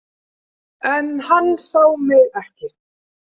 En hann sá mig ekki.